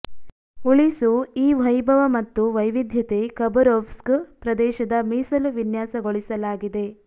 ಉಳಿಸು ಈ ವೈಭವ ಮತ್ತು ವೈವಿಧ್ಯತೆ ಖಬರೋವ್ಸ್ಕ್ ಪ್ರದೇಶದ ಮೀಸಲು ವಿನ್ಯಾಸಗೊಳಿಸಲಾಗಿದೆ